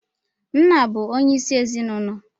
Nna bu onye isi ezinụlọ